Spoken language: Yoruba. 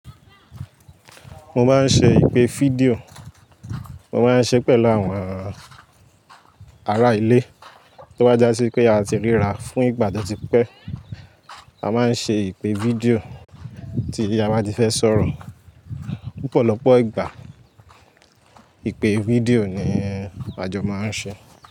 Mo máa ń ṣe ìpè fídíò, mo máa ń ṣe pẹ̀lú àwọn ará ilé tó bá já sí pé a ti ríra fún ìgbà tó ti pẹ́. A máa ń ṣe ìpè fídíò tí a bá ti fẹ́ sọ̀rọ̀. Pupọ̀lọpọ̀ ìgbà ìpè fídíò ni àjọ máa ń ṣe.